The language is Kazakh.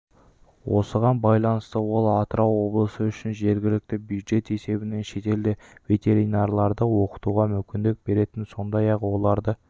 осыған байланысты ол атырау облысы үшін жергілікті бюджет есебінен шетелде ветеринарларды оқытуға мүмкіндік беретін сондай-ақ оларды